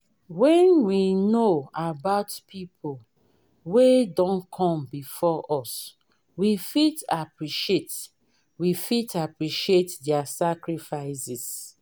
when we know about pipo wey don come before us we fit appreciate we fit appreciate their sacrifices